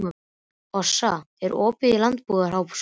Sossa, er opið í Landbúnaðarháskólanum?